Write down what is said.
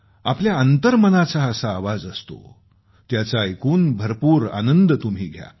आपल्या अंतर्मनाचा असा आवाज असतो त्याचं ऐकून भरपूर आनंद तुम्ही घ्या